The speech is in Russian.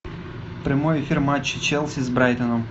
прямой эфир матча челси с брайтоном